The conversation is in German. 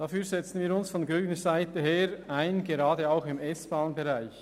Dafür setzen wir uns von grüner Seite ein, gerade auch im S-Bahn-Bereich.